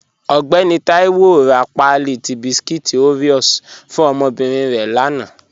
Ọgbẹ̀nì Taiwo rá páàlí tí bískúít Oreos fún ọmọ́bírín rẹ̀ lána